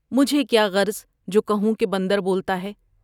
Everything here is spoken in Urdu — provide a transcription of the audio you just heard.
مجھے کیا غرض جو کہوں کہ بندر بولتا ہے ۔